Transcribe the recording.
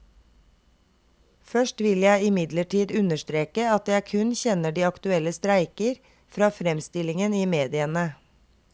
Først vil jeg imidlertid understreke at jeg kun kjenner de aktuelle streiker fra fremstillingen i mediene.